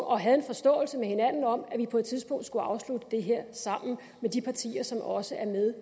og havde en forståelse med hinanden om at vi på et tidspunkt skulle afslutte det her sammen med de partier som også er med